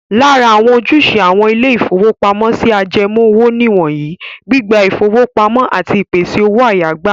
Lára àwọn ojúṣe àwọn ilé-ìfowópamọ́sí ajẹmoówò nìwọ̀nyí; gbígba ìfowópamọ́ àti ìpèsè owó-àyágbà.